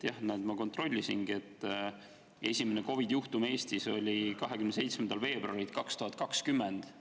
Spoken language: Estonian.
Jah, näete, ma kontrollisin: esimene COVID‑i juhtum Eestis oli 27. veebruaril 2020.